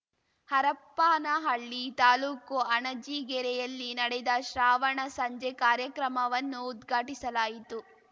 ಹರಪ್ಪನಹಳ್ಳಿ ತಾಲೂಕು ಅಣಜಿಗೇರಿಯಲ್ಲಿ ನಡೆದ ಶ್ರಾವಣ ಸಂಜೆ ಕಾರ್ಯಕ್ರಮವನ್ನು ಉದ್ಘಾಟಿಸಲಾಯಿತು